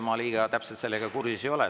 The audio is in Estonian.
Ma eriti täpselt sellega kursis ei ole.